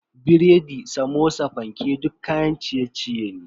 Biredi, Samosa, fanke duk kayan ciye-ciye ne.